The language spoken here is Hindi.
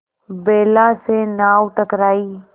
बेला से नाव टकराई